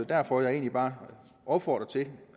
derfor jeg egentlig bare opfordrer til at